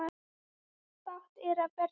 Bágt er að berja höfðinu við steinninn.